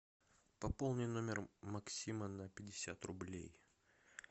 пополни номер максима на пятьдесят рублей